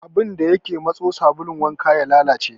Abun da ya ke matso sabulun wanka ya lalace.